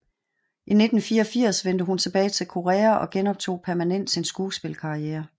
I 1984 vendte hun tilbage til Korea og genoptog permanent sin skuespilkarriere